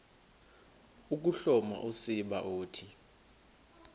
ukuhloma usiba uthi